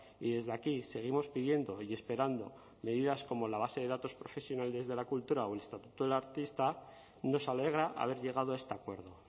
y desde aquí seguimos pidiendo y esperando medidas como la base de datos de profesionales de la cultura o el estatuto del artista nos alegra haber llegado a este acuerdo